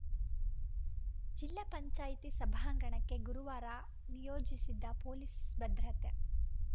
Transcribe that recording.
ಜಿಲ್ಲಾ ಪಂಚಾಯಿತಿ ಸಭಾಂಗಣಕ್ಕೆ ಗುರುವಾರ ನಿಯೋಜಿಸಿದ್ದ ಪೊಲೀಸ್‌ ಭದ್ರತೆ